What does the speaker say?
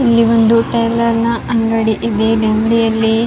ಇಲ್ಲಿ ಒಂದು ಟೈಲರ್ ನ ಅಂಗಡಿ ಇದೆ ಇಲ್ಲಿ ಅಂಗಡಿಯಲ್ಲಿ --